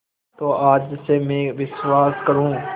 तो आज से मैं विश्वास करूँ